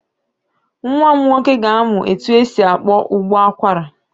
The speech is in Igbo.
Nwa m nwoke ga-amụ etu esi akpọ ụbọ akwara.